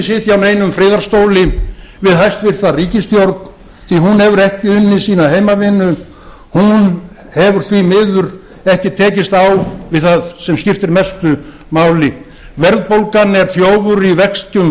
sitja á neinum friðarstóli við hæstvirta ríkisstjórn því hún hefur ekki unnið sína heimavinnu hún hefur því miður ekki tekist á við það sem skiptir mestu máli verðbólgan er þjófur í veskjum